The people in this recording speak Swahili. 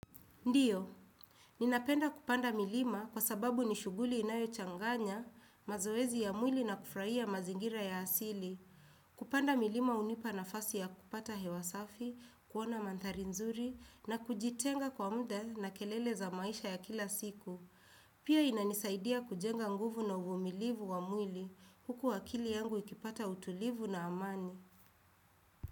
Ndio, ninapenda kupanda milima kwa sababu nishughuli inayochanganya, mazoezi ya mwili na kufurahia mazingira ya asili. Kupanda milima hunipa nafasi ya kupata hewa safi, kuona mandhari nzuri na kujitenga kwa muda na kelele za maisha ya kila siku. Pia inanisaidia kujenga nguvu na uvumilivu wa mwili huku akili yangu ikipata utulivu na amani.